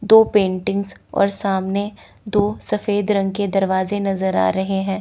दो पेंटिंग्स और सामने दो सफेद रंग के दरवाजे नजर आ रहे हैं।